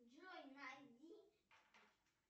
джой найди